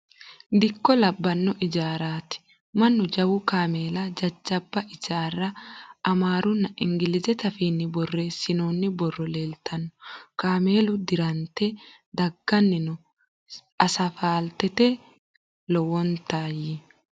Dikko labbanno ijaarrati. Mannu jawu kameella jajjabba ijaarra amaarunna ingilizete afiinni borreessinoonni borrono leeltanno. Kaameelu dirante dagganni no asfaaltete. Lowonta y.